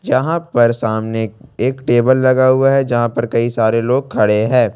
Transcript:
यहां पर सामने एक टेबल लगा हुआ है जहां पर कई सारे लोग खड़े हैं।